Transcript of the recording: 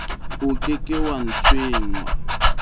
o ke ke wa tshwengwa